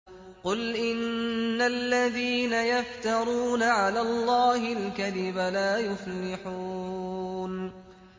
قُلْ إِنَّ الَّذِينَ يَفْتَرُونَ عَلَى اللَّهِ الْكَذِبَ لَا يُفْلِحُونَ